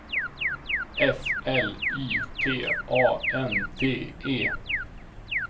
F L Y T A N D E